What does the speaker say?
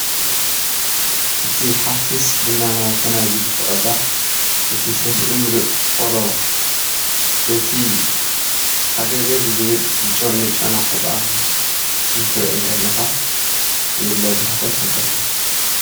እቲ ሓፊስ ቡና ናብ ፈናጅል ትቅዳሕ እቲ ሰፍኢ ሙሉእ ቆሎ በቲ ሃገገግ ዝብል ዝጨኑዉ ጨና ዕጣን እንትሪኢ እንከለካ ዘየለ ባህታ ይፈጥረልካ።